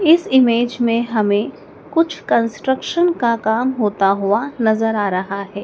इस इमेज में हमें कुछ कंस्ट्रक्शन का काम होता हुआ नजर आ रहा हैं।